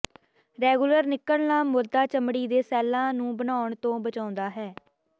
regular ਨਿਕਲਣਾ ਮੁਰਦਾ ਚਮੜੀ ਦੇ ਸੈੱਲਾਂ ਨੂੰ ਬਣਾਉਣ ਤੋਂ ਬਚਾਉਂਦਾ ਹੈ